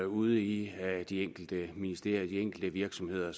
ude i de enkelte ministerier ude i de enkelte virksomheder